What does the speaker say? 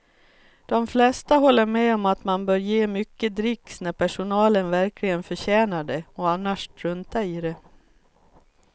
De flesta håller med om att man bör ge mycket dricks när personalen verkligen förtjänar det och annars strunta i det.